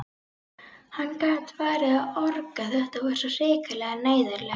Hann gat farið að orga, þetta var svo hrikalega neyðarlegt.